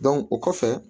o kɔfɛ